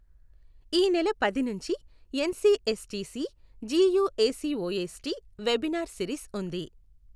ఈ నెల పది నుంచి ఎన్సీఎస్టీసీ జీయూఏసీవోఎస్టీ వెబినార్ సిరీస్ ఉంది.